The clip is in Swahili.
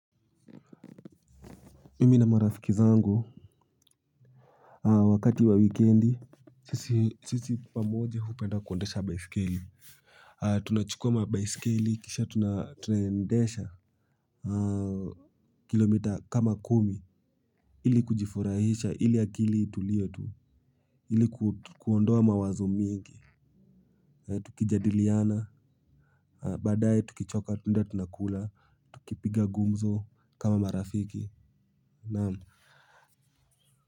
Mimi na marafiki zangu wakati wa wikiendi sisi pamoja hupenda kuendesha baiskeli. Tunachukua baiskeli kisha tunaendesha kilomita kama kumi. Ili kujifurahisha ili akili itulie tu ili kuondoa mawazo mingi. Tukijadiliana baadae tukichoka tunaenda tunakula tukipiga gumzo kama marafiki na kwa hivyo.